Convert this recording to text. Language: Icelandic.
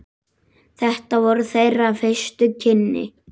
Þetta voru þeirra fyrstu kynni.